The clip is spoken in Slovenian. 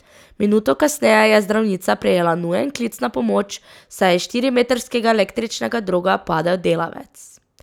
Minuto kasneje je zdravnica prejela nujen klic na pomoč, saj je iz štirimetrskega električnega droga padel delavec.